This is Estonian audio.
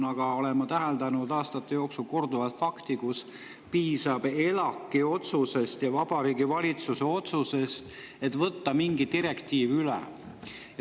Ma olen täheldanud aastate jooksul korduvalt fakti, et piisab ELAK-i ja Vabariigi Valitsuse otsusest, et võtta mingi direktiiv üle.